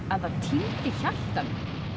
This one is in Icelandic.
að það týndi hjartanu